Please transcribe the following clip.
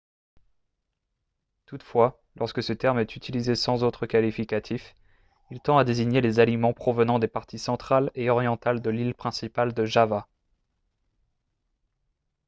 toutefois lorsque ce terme est utilisé sans autre qualificatif il tend à désigner les aliments provenant des parties centrale et orientale de l'île principale de java